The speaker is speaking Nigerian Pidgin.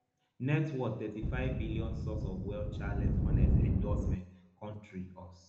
net worth thirty-five billion source of wealth charlotte hornets endorsements country us